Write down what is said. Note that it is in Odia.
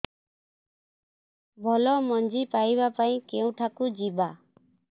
ଭଲ ମଞ୍ଜି ପାଇବା ପାଇଁ କେଉଁଠାକୁ ଯିବା